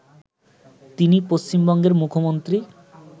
তিনি পশ্চিমবঙ্গের মুখ্যমন্ত্রী